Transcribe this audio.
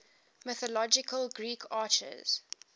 mythological greek archers